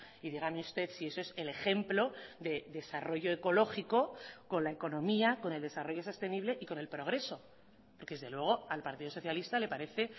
y dígame usted si eso es el ejemplo de desarrollo ecológico con la economía con el desarrollo sostenible y con el progreso porque desde luego al partido socialista le parece